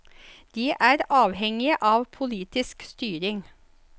De er avhengige av politisk styring.